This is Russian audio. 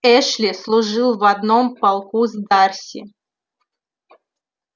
эшли служил в одном полку с дарси